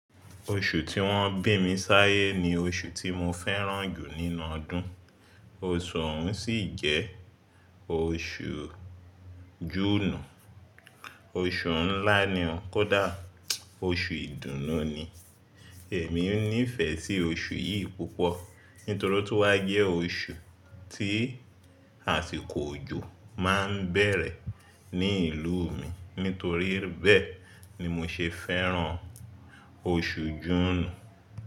Oṣù tí wọ́n bí mi sáyé ni oṣù tí mo fẹ́ràn jù nínú ọdún. Oṣù ọ̀ún sì jẹ́ oṣù Júùnù. Oṣù ńlá ni ó, kódà oṣù ìdùnnú ni. Èmi nífẹ̀ẹ́ sí oṣù yìí púpọ̀ nítorí ótun wá jẹ́ oṣù tí àsìkò òjò máa n bẹ̀rẹ̀ ní ìlú mi. Nítorí bẹ́ẹ̀ ni mo ṣe fẹ́ràn oṣù Júùnù.